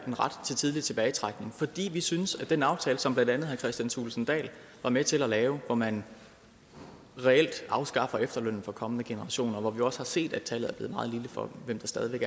en ret til tidlig tilbagetrækning fordi vi synes at i den aftale som blandt andet herre kristian thulesen dahl var med til at lave hvor man reelt afskaffer efterlønnen for kommende generationer og hvor vi også har set at tallet for hvem der stadig væk